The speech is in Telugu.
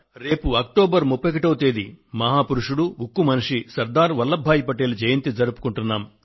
రేపు అక్టోబర్ 31వ తేదీ మహాపురుషుడు ఉక్కు మనిషి శ్రీ సర్దార్ వల్లభ్ భాయ్ పటేల్ జయంతి జరుపుకుంటున్నాం